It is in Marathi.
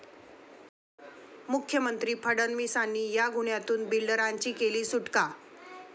मुख्यमंत्री फडणवीसांनी 'या' गुन्ह्यातून बिल्डरांची केली सुटका